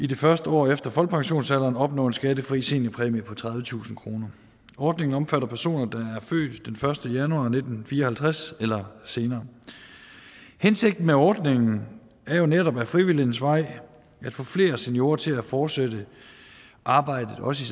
det første år efter folkepensionsalderen opnå en skattefri seniorpræmie på tredivetusind kroner ordningen omfatter personer der er født den første januar nitten fire og halvtreds eller senere hensigten med ordningen er jo netop ad frivillighedens vej at få flere seniorer til at fortsætte arbejdet også